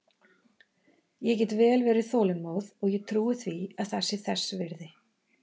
Ég get vel verið þolinmóð og ég trúi því að það sé þess virði.